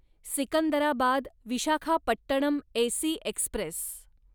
Secunderabad Visakhapatnam AC Express